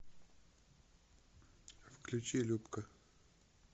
включи любка